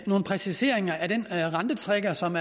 nogle præciseringer af den rentetrigger som